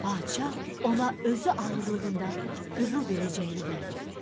Padşah ona özü ağırlığında qızıl verəcəyini vəd etdi.